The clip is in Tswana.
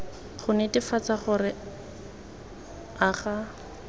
go netefatsa gore a ga